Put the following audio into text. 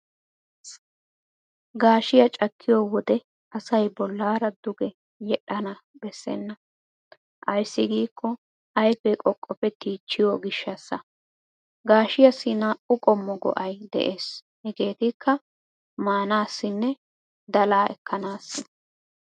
Gaashiyaa cakkiyo wode asay bollaara duge yedhdhana bessenna. ayssi giikko ayfee qoqqopettiichchiyo gishshaassa. Gaashiyaassi naa"u qommo go'ay de'ees hegeetikka:-maanaassinne dalaa ekkanaassi.